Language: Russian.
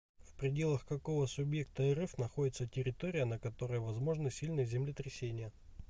в пределах какого субъекта рф находится территория на которой возможны сильные землетрясения